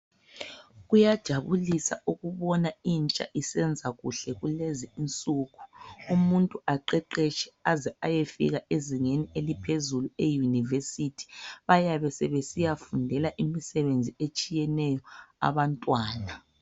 Kuyajabulisa ukubona intsha isenza kuhle kulezi insuku umuntu aqeqetshe aze ayefika ezingeni eliphezulu e university bayabe sebesiyafundela imisebenzi etshiyeneyo abantwana